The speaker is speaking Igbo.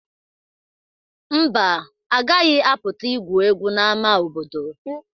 Mba, agaghị apụta igwu egwu n'ama obodo.